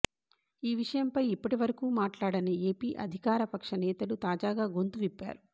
ఈ విషయంపై ఇప్పటివరకూ మాట్లాడని ఏపీ అధికారపక్ష నేతలు తాజాగా గొంతు విప్పారు